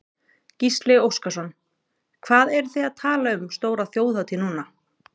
Gísli Óskarsson: Hvað eruð þið að tala um stóra þjóðhátíð núna?